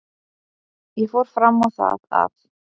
Ég fór fram á það að